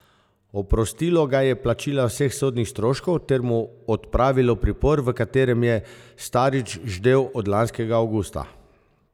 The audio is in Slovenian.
Oprostilo ga je plačila vseh sodnih stroškov ter mu odpravilo pripor, v katerem je Starič ždel od lanskega avgusta.